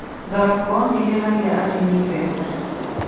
Thoroko nĩirehagĩra arĩmi mbeca.